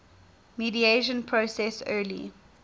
mediation process early